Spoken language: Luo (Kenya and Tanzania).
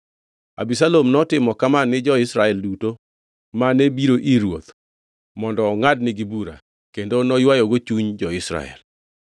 Abisalom notimo kama ni jo-Israel duto mane biro ir ruoth mondo ongʼadnigi bura, kendo noywayogo chuny jo-Israel.